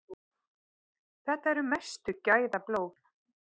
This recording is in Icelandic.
Þetta eru mestu gæðablóð.